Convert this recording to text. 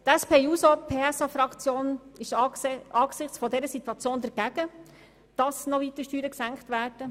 Die SP-JUSO-PSA-Fraktion ist angesichts dieser Situation dagegen, dass die Steuern weiter gesenkt werden.